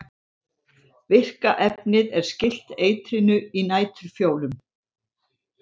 virka efnið er skylt eitrinu í næturfjólum